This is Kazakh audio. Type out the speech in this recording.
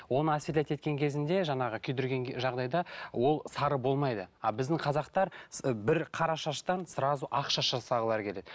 оны осветлять еткен кезінде жаңағы күйдірген жағдайда ол сары болмайды а біздің қазақтар бір қара шаштан сразу ақ шаш жасағылары келеді